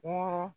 Wɔɔrɔn